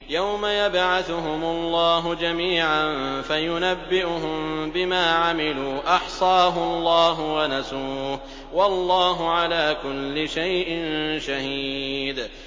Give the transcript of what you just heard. يَوْمَ يَبْعَثُهُمُ اللَّهُ جَمِيعًا فَيُنَبِّئُهُم بِمَا عَمِلُوا ۚ أَحْصَاهُ اللَّهُ وَنَسُوهُ ۚ وَاللَّهُ عَلَىٰ كُلِّ شَيْءٍ شَهِيدٌ